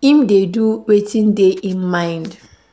im dey do wetin dey im mind.